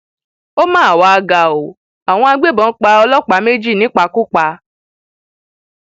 ó mà wàá ga ọ àwọn agbébọn pa ọlọpàá méjì nípakúpa